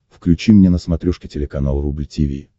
включи мне на смотрешке телеканал рубль ти ви